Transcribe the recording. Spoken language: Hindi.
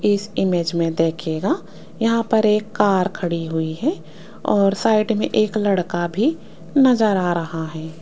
इस इमेज में देखिएगा यहां पर एक कार खड़ी हुई है और साइड में एक लड़का भी नजर आ रहा है।